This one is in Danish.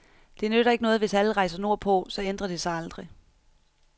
Det nytter ikke noget, hvis alle rejser nordpå, så ændrer det sig aldrig.